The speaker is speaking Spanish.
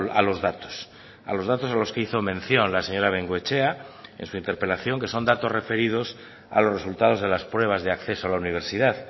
a los datos a los datos a los que hizo mención la señora bengoechea en su interpelación que son datos referidos a los resultados de las pruebas de acceso a la universidad